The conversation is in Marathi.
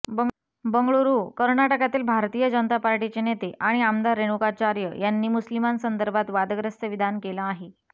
बंगळुरूः कर्नाटकातल्या भारतीय जनता पार्टीचे नेते आणि आमदार रेणुकाचार्य यांनी मुस्लिमांसंदर्भात वादग्रस्त विधान केलं आहे